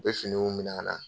U bɛ finiw minɛ an na.